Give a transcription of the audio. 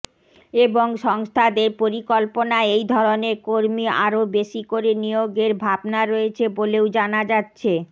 এবং সংস্থাদের পরিকল্পনায় এই ধরনের কর্মী আরও বেশি করে নিয়োগের ভাবনা রয়েছে বলেও জানা যাচ্ছে